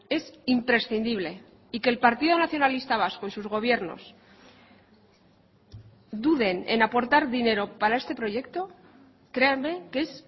es imprescindible y que el partido nacionalista vasco y sus gobiernos duden en aportar dinero para este proyecto créanme que es